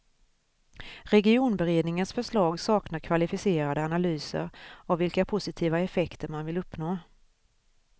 Regionberedningens förslag saknar kvalificerade analyser av vilka positiva effekter man vill uppnå.